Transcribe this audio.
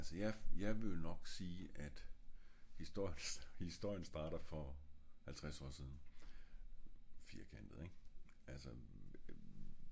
ja altså jeg ville jo nok sige at historien starter for halvtreds år siden lidt firkantet ik? altså